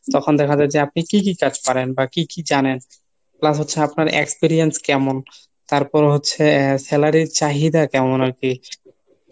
তখন দেখা যায় যে আপনি কী কী কাজ পারেন বা কী কী জানেন। Plus হচ্ছে আপনার experience কেমন, তারপর হচ্ছে salary র চাহিদা কেমন আরকি।